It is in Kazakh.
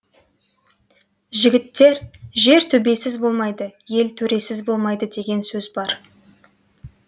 жігіттер жер төбесіз болмайды ел төресіз болмайды деген сөз бар